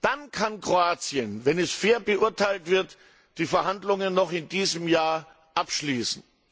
Dann kann Kroatien, wenn es fair beurteilt wird, die Verhandlungen noch in diesem Jahr abschließen.